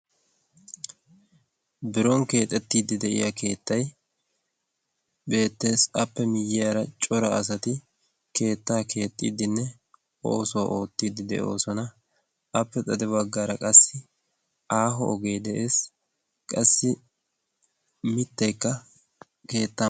biron keexettiiddi de7iya keettai beettees appe miyyiyaara cora asati keettaa keexxiiddinne oosuwaa oottiiddi de7oosona appe xade baggaara qassi aaho ogee de7ees qassi mitteekka keetta